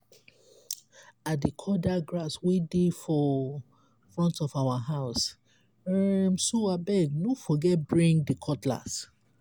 i dey cut dat grass wey dey for front of our house um so abeg no forget bring di cutlass.